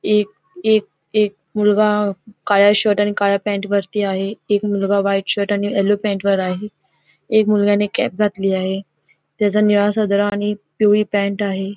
एक एक एक मुलगा काळ्या शर्ट आणि काळ्या पॅन्ट वरती आहे एक मुलगा व्हाईट शर्ट आणि येलो पॅन्ट वर आहे एक मुलगा ने कॅप घातली आहे त्याचा निळा सदरा आणि पिवळी पॅन्ट आहे.